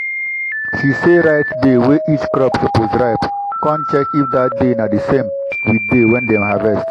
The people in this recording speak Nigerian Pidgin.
she sey write day wey each crop suppose ripe con check if that day na di same with day wey dem harvest.